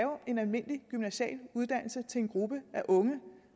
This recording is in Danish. en almindelig gymnasial uddannelse til en gruppe af unge